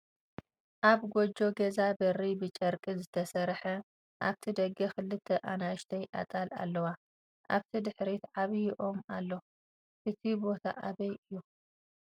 ኣብ ጎጆ ገዛ በሪ ብጨርቂ ዝተሰርሐ ኣብቲ ደገ ክልተ ኣናእሽተይ ኣጣል ኣለዋ ኣብቲ ድሕሪት ዓብይ ኦም ኣሎ ። እቲ ቦታኣበይ እዩ?